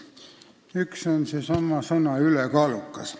Üks on seotud sellesama sõnaga "ülekaalukas".